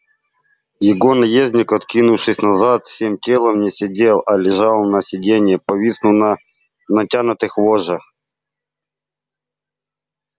его наездник откинувшись назад всем телом не сидел а лежал на сиденье повиснув на натянутых вожжах